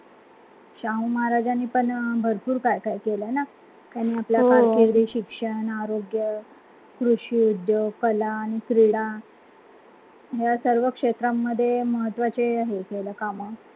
शाहू महाराजांनी पण भरपूर काय काय केलं ना त्यांनी आपली कारकिर्दी, शिक्षण, आरोग्य, कृषि उद्योग, कला आणि क्रीडा यासर्व क्षेत्रांमध्ये महत्वाचे हे केलं कामं